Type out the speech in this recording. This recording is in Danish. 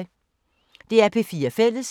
DR P4 Fælles